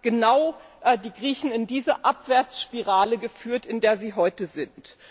genau das die Griechen in diese Abwärtsspirale geführt, in der sie heute sind.